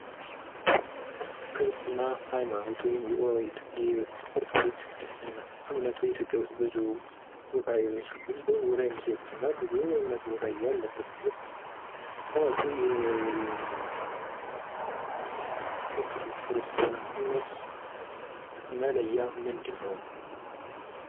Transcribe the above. የኦርቶዶክስ ተዋህዶ እምነት በኢትዮጵያ ብዙ ሰዎች ቦታ የሚሰጡት ሃይማኖት ነው ።መለያው ምንድነው?